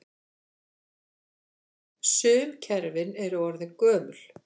Sum kerfin eru orðin gömul.